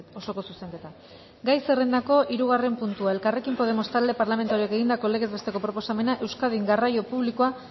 osoko zuzenketa gai zerrendako hirugarren puntua elkarrekin podemos talde parlamentarioak egindako legez besteko proposamena euskadin garraio publikoa